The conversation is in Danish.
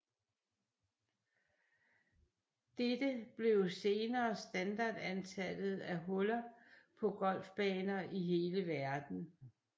Dette blev senere standardantallet af huller på golfbaner i hele verden